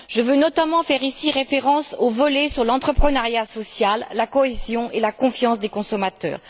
Je veux notamment faire ici référence au volet sur l'entrepreneuriat social, la cohésion et la confiance des consommateurs.